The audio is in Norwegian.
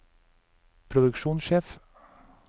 produksjonssjef